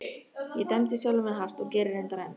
Ég dæmdi sjálfa mig hart og geri reyndar enn.